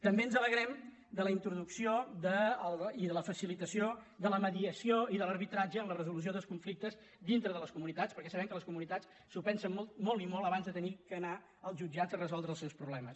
també ens alegrem de la introducció i de la facilitació de la mediació i de l’arbitratge en la resolució dels conflictes dintre de les comunitats perquè sabem que les comunitats s’ho pensen molt i molt abans d’haver d’anar als jutjats a resoldre els seus problemes